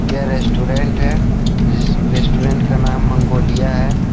यह रेस्टोरेंट है रेस्टोरेंट का नाम मंगोलिया है।